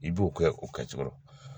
I b'o kɛ o kɛcogo la